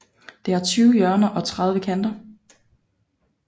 Det har tyve hjørner og tredive kanter